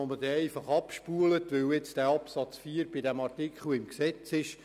Ich glaube nicht, dass das notwendig ist.